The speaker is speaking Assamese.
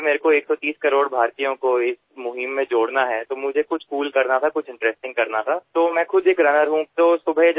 যদি মই ১৩০ কোটি ভাৰতীয়ক এই পদক্ষেপৰ সৈতে জড়িত কৰোৱাব লাগে তেন্তে মই এনেধৰণৰ কুল কাম কৰাৰ প্ৰয়োজন আছিল এটা আমোদজনক কাম কৰাৰ প্ৰয়োজন আছিল